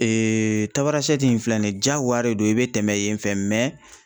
Tabarasɛte in filɛ nin ye, jagoya de don i bɛ tɛmɛ yen fɛ